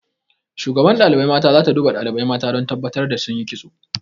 Shugaban ɗalibai mata za ta duba ɗalibai mata don tabbatar da sun yi kitso.